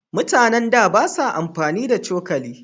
Mutanen da ba sa amfani da cokali.